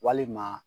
Walima